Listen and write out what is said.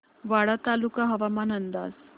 वाडा तालुका हवामान अंदाज